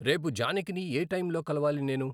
రేపు జానకిని ఏ టైంలో కలవాలి నేను?